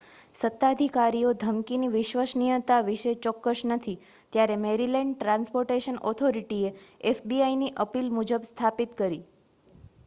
સત્તાધિકારીઓ ધમકીની વિશ્વસનીયતા વિશે ચોક્કસ નથી ત્યારે મૅરિલૅન્ડ ટ્રાન્સ્પોર્ટેશન ઑથોરિટીએ fbiની અપીલ મુજબ સમાપ્તિ કરી